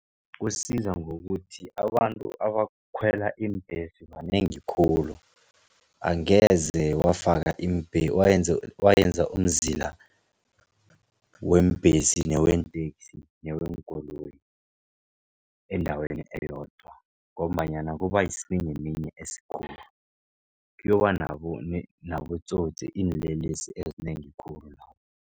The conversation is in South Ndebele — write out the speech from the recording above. Kusiza ngokuthi abantu abakhwela iimbhesi banengi khulu, angeze wafaka wenza umzila weembhesi, neweenteksi, neweenkoloyi endaweni eyodwa ngombanyana kubayisiminyaminya esikhulu. Kuyoba nabotsotsi, iinlelesi ezinengi khulu lapho.